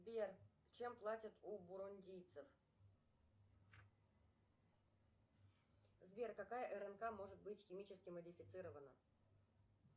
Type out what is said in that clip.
сбер чем платят у бурундийцев сбер какая рнк может быть химически модифицирована